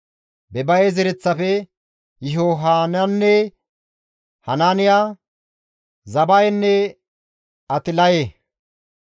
Bebaye zereththafe, Yihohanaane, Hanaaniya, Zabayenne Atlaye;